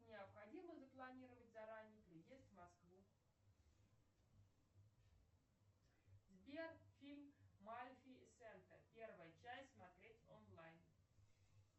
необходимо запланировать заранее переезд в москву сбер фильм малефисента первая часть смотреть онлайн